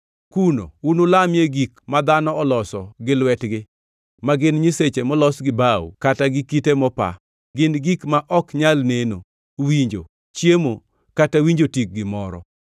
Kuno unulamie gik ma dhano oloso gi lwetgi, ma gin nyiseche molos gi bao kata gi kite mopa, gin gik ma ok nyal neno, winjo, chiemo kata winjo tik gimoro.